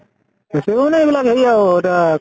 বেছিব মানে, এইবিলাক হেৰি আৰু এতিয়া